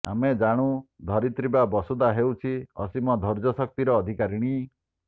ଆମେ ଜାଣୁ ଧରିତ୍ରୀ ବା ବସୁଧା ହେଉଛି ଅସୀମ ଧୈର୍ଯ୍ୟ ଶକ୍ତିର ଅଧିକାରୀଣୀ